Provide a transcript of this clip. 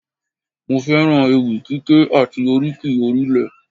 Mo fẹ́ràn ewì kíké àti oríkì orílẹ̀